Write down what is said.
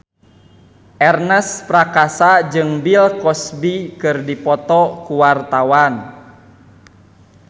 Ernest Prakasa jeung Bill Cosby keur dipoto ku wartawan